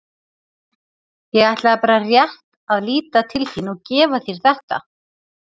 Ég ætlaði bara rétt að líta til þín og gefa þér þetta.